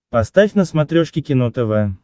поставь на смотрешке кино тв